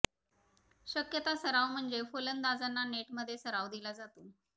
शक्यता सराव म्हणजे फलंदाजांना नेटमध्ये सराव दिला जातो